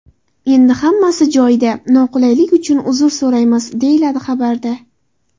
Endi hammasi joyida, noqulaylik uchun uzr so‘raymiz”, deyiladi xabarda.